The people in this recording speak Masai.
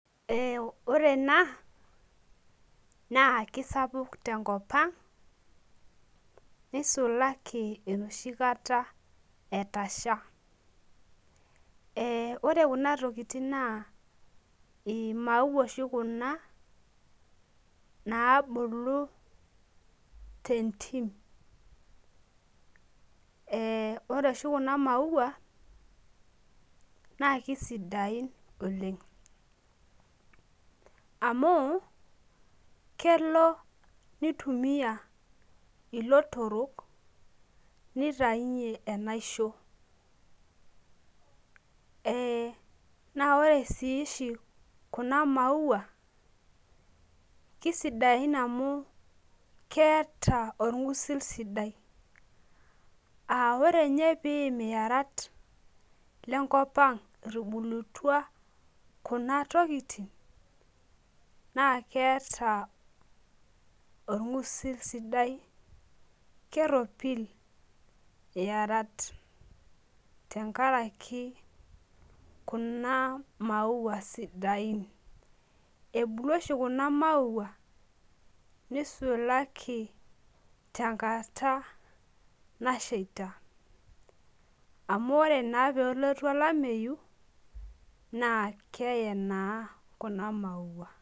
Ore ena na kisapuk tenkopang nisulaki enoshibkata etasha ore kunatokitin na imaua oshi kebulu tentim ee ore oshi kuna maua na kisidain oleng amu kwlo nitumia ilotorok nitaunye enaishamo na ore ai oshibkuna maua na kisidain amu keeta orngusil sidai amu ore nye piim iyarat lenkopaang etubulutua kunatokitin na keeta orngusil sidai keropil iyarat tenkaraki kuna maua sidain ebulu oshi kuna maua nisulaki tenkata nasheita amu ore pelotu olameyu na keeye naa kuna maua.